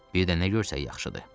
Birdən nə görsək yaxşıdır.